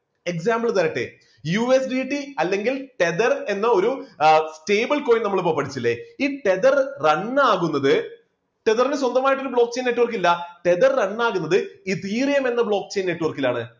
example തരട്ടെ USTC അല്ലെങ്കിൽ tether എന്ന ഒരു stable coin നമ്മൾ ഇപ്പോ പഠിച്ചില്ലേ ഈ tether run ആകുന്നത് tether ന് സ്വന്തമായിട്ട് ഒരു block chain network ഇല്ല tether run ആകുന്നത് ethereun എന്ന block chain network ലാണ്.